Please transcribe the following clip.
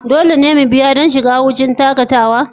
Dole ne mu biya don shiga wurin shakatawa?